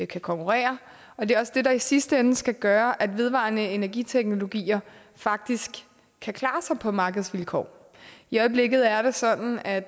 kan konkurrere og det er også det der i sidste ende skal gøre at vedvarende energi teknologier faktisk kan klare sig på markedsvilkår i øjeblikket er det sådan at